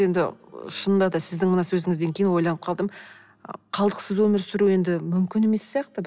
енді шынында да сіздің мына сөзіңізден кейін ойланып қалдым қалдықсыз өмір сүру енді мүмкін емес сияқты